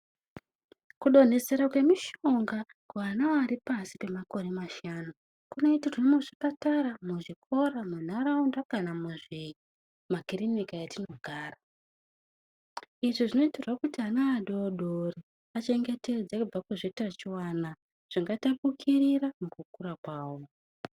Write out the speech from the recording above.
Kudonhesera kwemishonga kuvana vari pashi kwemakore mashanu kunoitirwa muzvikora munharaunda kana Mumakiriniki matinogara izvi zvinoitirwa kuti ana adoko achengetedzwe kubva muzvitachiwana zvingatapukirira nekuda kwawo.